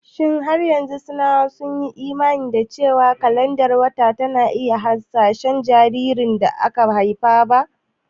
Shin har yanzu Sinawa sun yi imani cewa kalandar wata na yin hasashen jinsin jaririn da ba a haifa ba?